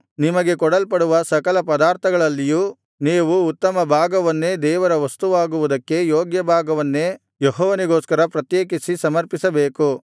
ನಿಮಗೆ ಕೊಡಲ್ಪಡುವ ಸಕಲ ಪದಾರ್ಥಗಳಲ್ಲಿಯೂ ನೀವು ಉತ್ತಮ ಭಾಗವನ್ನೇ ದೇವರ ವಸ್ತುವಾಗುವುದಕ್ಕೆ ಯೋಗ್ಯಭಾಗವನ್ನೇ ಯೆಹೋವನಿಗೋಸ್ಕರ ಪ್ರತ್ಯೇಕಿಸಿ ಸಮರ್ಪಿಸಬೇಕು